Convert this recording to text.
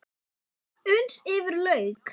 Hún svaf uns yfir lauk.